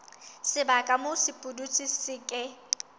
sebaka moo sepudutsi se ke